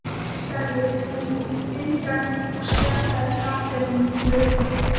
Nikki sagði hún undrandi og stjakaði karlinum í burtu.